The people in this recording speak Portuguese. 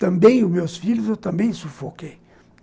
Também os meus filhos, eu também sufoquei.